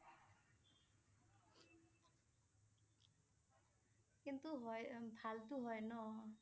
কিন্তু হয় । উম ভাল টো হয় ন